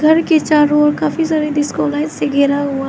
ऊपर की चारों ओर काफी सारे डिस्को लाइट्स से घेरा हुआ है।